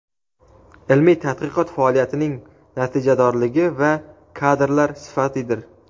ilmiy tadqiqot faoliyatining natijadorligi va kadrlar sifatidir.